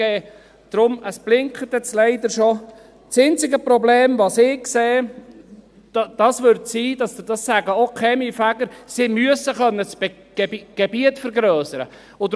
Deshalb – es blinkt nun leider schon – ist das einzige Problem, welches ich sehe – dies sagen auch die Kaminfeger –, dass sie das Gebiet müssten vergrössern können.